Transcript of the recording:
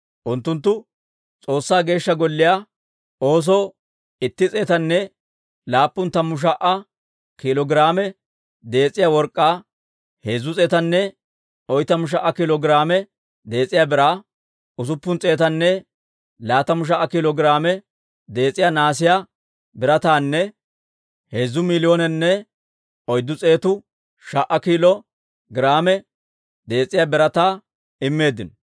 Unttunttu S'oossaa Geeshsha Golliyaa oosoo itti s'eetanne laappun tammu sha"a kiilo giraame dees'iyaa work'k'aa, heezzu s'eetanne oytamu sha"a kiilo giraame dees'iyaa biraa, usuppun s'eetanne laatamu sha"a kiilo giraame dees'iyaa nahaasiyaa birataanne heezzu miiliyoonenne oyddu s'eetu sha"a kiilo giraame dees'iyaa birataa immeeddino.